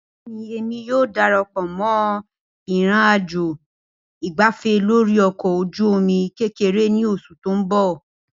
Bẹẹni, Emi yoo darapọ mọ ìnrìnàjò ìgbáfé lórí ọkọ̀ ojú omi kekere ni oṣu ti n bọ.